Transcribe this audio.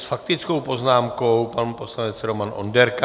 S faktickou poznámkou pan poslanec Roman Onderka.